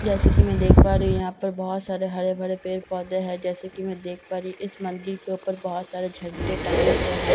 जैसा कि मैं देख पा रही हूं यहां पर बहुत सारे हरे भरे पेड़ पौधे है जैसा कि मैं देख पा रही हूं इस मंदिर के ऊपर बहुत सारे झंडे टंगे हुए हैं जैसा कि --